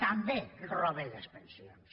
també roben les pensions